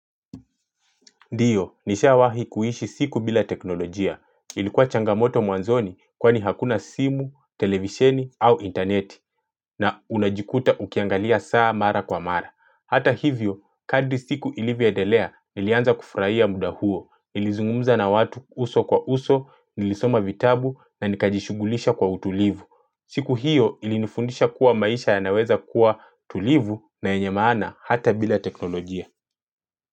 Ndiyo, nishawahi kuishi siku bila teknolojia. Ilikuwa changamoto mwanzoni kwani hakuna simu, televisheni au intaneti na unajikuta ukiangalia saa mara kwa mara. Hata hivyo, kadri siku ilivyoendelea nilianza kufurahia muda huo. Nilizungumza na watu uso kwa uso, nilisoma vitabu na nikajishughulisha kwa utulivu. Siku hiyo ilinifundisha kuwa maisha yanaweza kuwa tulivu na yenye maana hata bila teknolojia.